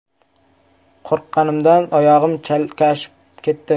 Qo‘rqqanimdan oyog‘im chalishib ketdi.